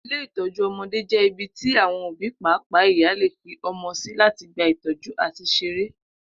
Ilé ìtó̩jú o̩mo̩dé jé̩ ibi tí àwo̩n òbí pàápàá ìyá lè fi o̩mo̩ sí láti gba ìtó̩jú àti s̩eré